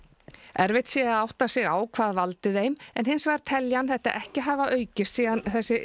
erfitt sé að átta sig á hvað valdi þeim en hins vegar telji hann þetta ekki hafa aukist síðan þessi